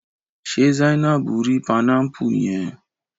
Ṣe Zainabu ri panámpù yẹn?